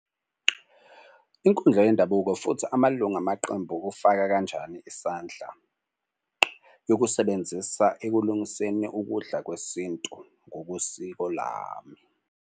Inkundla yendabuko futhi amalunga amaqembu kufaka kanjani isandla, yokusebenzisa ekulungiseni ukudla kwesintu ngokosiko lami.